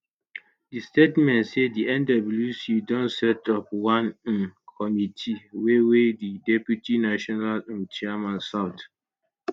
di statement say di nwc don set up one um committee wey wey di deputy national um chairman south